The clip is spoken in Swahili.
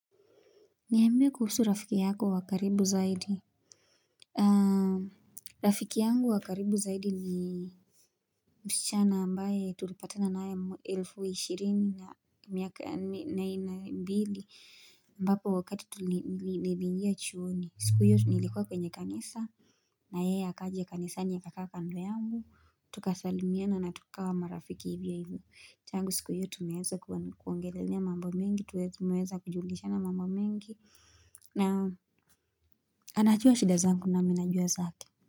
Niambie kuhusu rafiki yako wa karibu zaidi Rafiki yangu wa karibu zaidi ni msichana ambaye tulipatana naye elfu ishirini na mbili ambapo wakati tulibinjia chuoni siku iyo nilikuwa kwenye kanisa na yeye akaja kanisani kukaa kando yangu Tukasalimiana na tukawa marafiki ibibu changu siku ya tumeweza kuongelelea mambo mingi Tumeweza kujulishana mambo mingi na anajua shida zangu na mi najua zake.